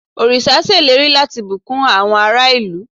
oríṣa ṣèlérí lati bukun àwọn ará ìlú